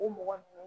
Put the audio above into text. O mɔgɔ